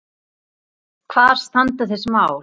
Hvar standa þessi mál?